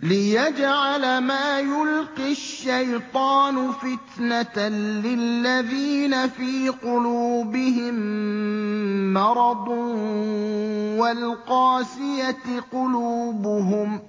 لِّيَجْعَلَ مَا يُلْقِي الشَّيْطَانُ فِتْنَةً لِّلَّذِينَ فِي قُلُوبِهِم مَّرَضٌ وَالْقَاسِيَةِ قُلُوبُهُمْ ۗ